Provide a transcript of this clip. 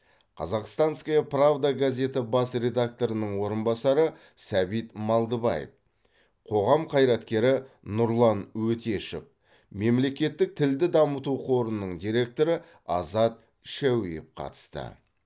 казахстанская правда газеті бас редакторының орынбасары сәбит малдыбаев қоғам қайраткері нұрлан өтешов мемлекеттік тілді дамыту қорының директоры азат шәуеев қатысты